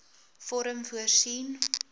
vorm voorsien